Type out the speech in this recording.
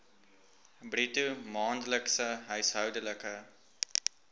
bruto maandelikse huishoudelike